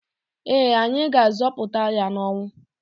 Ee, anyị ga-azọpụta ya n'ọnwụ.